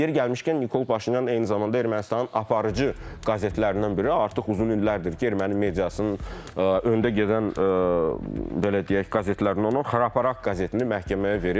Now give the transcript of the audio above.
Yeri gəlmişkən, Nikol Paşinyan eyni zamanda Ermənistanın aparıcı qəzetlərindən biri, artıq uzun illərdir ki, erməni mediasının öndə gedən, belə deyək, qəzetlərindən olan Xraparak qəzetini məhkəməyə verib.